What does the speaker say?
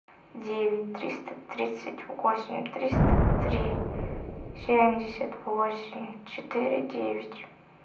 девять триста тридцать восемь триста три семьдесят восемь четыре девять